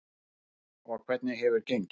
Freyja: Og hvernig hefur gengið?